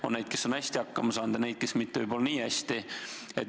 On neid, kes on hästi hakkama saanud, ja neid, kes võib-olla mitte nii hästi.